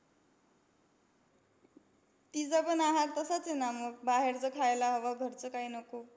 तिचापण आहार तसाच आहे ना मग. बाहेरचं खायला हवं, घरच काही नको.